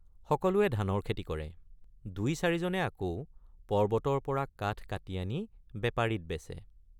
সকলোৱে ধানৰ খেতি কৰে ৷ দুইচাৰিজনে আকৌ পৰ্বতৰপৰা কাঠ কাটি আনি বেপাৰীত বেচে।